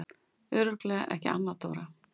Örugglega ekki Anna Dóra?